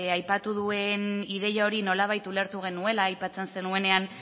aipatu duen ideia hori nolabait ulertu genuela aipatzen zenuenean